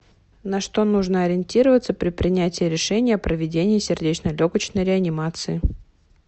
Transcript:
на что нужно ориентироваться при принятии решения о проведении сердечно легочной реанимации